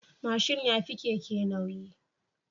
Mashin yafi Keke nauyi